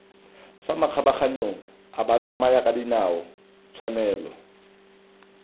fa makgabaganyong a batsamayakadinao tshwanelo